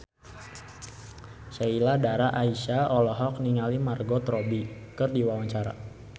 Sheila Dara Aisha olohok ningali Margot Robbie keur diwawancara